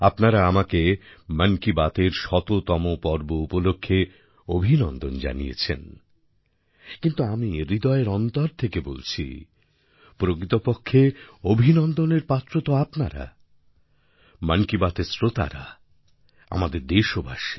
আপনারা আমাকে মন কি বাতএর শততম পর্ব উপলক্ষে অভিনন্দন জানিয়েছেন কিন্তু আমি হৃদয়ের অন্তর থেকে বলছি প্রকৃতপক্ষে অভিনন্দনের পাত্র তো আপনারা মন কি বাতের শ্রোতারা আমাদের দেশবাসী